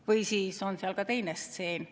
" Või siis on seal ka teine stseen.